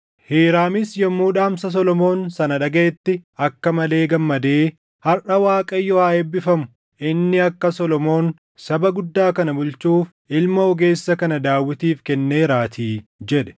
Hiiraamis yommuu dhaamsa Solomoon sana dhagaʼetti akka malee gammadee, “Harʼa Waaqayyo haa eebbifamu; inni akka Solomoon saba guddaa kana bulchuuf ilma ogeessa kana Daawitiif kenneeraatii” jedhe.